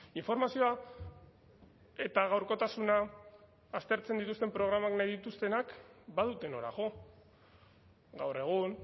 informazioa eta gaurkotasuna aztertzen dituzten programak nahi dituztenak badute nora jo gaur egun